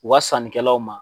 u wa sannikɛlaw ma.